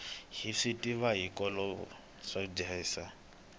hi swi tiva hiloko mudyondzisi